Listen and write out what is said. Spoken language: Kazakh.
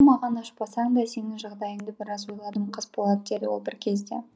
маған ашпасаң да сенің жағдайыңды біраз ойладым қасболат деді ол бір кезде